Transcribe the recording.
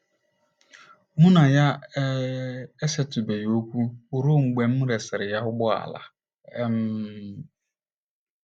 Mụ na ya um esetụbeghị okwu ruo mgbe m resịrị ya ụgbọala um.